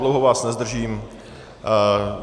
Dlouho vás nezdržím.